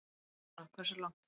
Jóhanna: Hversu langt?